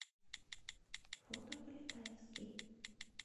фото полетаевский